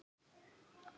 stundi Örn.